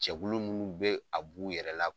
Cɛkulu munnu be a b'u yɛrɛ la